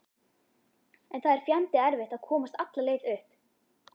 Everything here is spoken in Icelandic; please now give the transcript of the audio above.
En það er fjandi erfitt að komast alla leið upp.